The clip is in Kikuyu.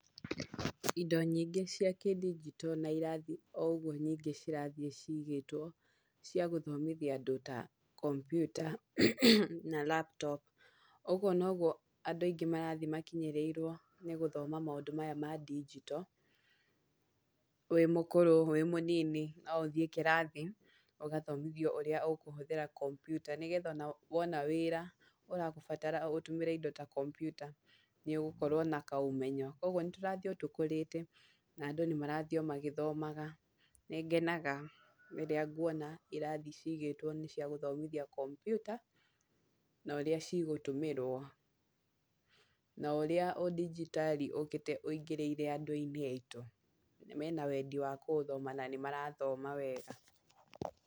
Indo nyingĩ cia kĩndigito na irathi no ũgũo nyingĩ cirathiĩ cigĩtwo, cia gũthomithia andũ ta kompyuta na laptop ũgũo nogũo andũ aingĩ marathiĩ makinyĩrĩrwo nĩ gũthoma maũndũ maya ma ndigito, wĩ mũkũrũ, wĩ mũnini, no ũthiĩ kĩrathi ũgathomithio ũrĩa ũkũhũthĩra kompyuta, nĩgetha ona wona wĩra urabatara ũtũmĩre indo ta kompyuta nĩ ũgũkorwo na kaũmenyo. Koguo nĩ tũrathiĩ o tũkũrĩte na andũ nĩ marathiĩ o magithomaga, nĩ ngenaga rĩrĩa ngũona irathi cigĩtwo nĩ cia gũthoma kompyuta na ũrĩa cigũtũmĩrwo, na ũrĩa ũndigitarĩ ũkĩte wĩingirĩire andũ-inĩ aitũ, mena wendi wa kũũthoma na nĩ mara ũthoma wega.